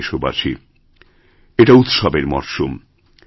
প্রিয় দেশবাসী এটা উৎসবের মরশুম